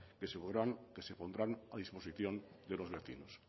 que se pondrán a disposición de los vecinos